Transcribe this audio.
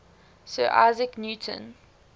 sir isaac newton